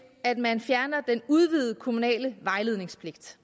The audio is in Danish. at man fjerner den udvidede kommunale vejledningspligt